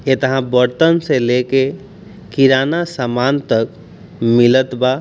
इतहा बर्तन से लेके किराना सामान तक मिलत बा।